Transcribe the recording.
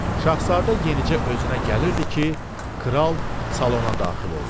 Şahzadə yenicə özünə gəlirdi ki, kral salona daxil oldu.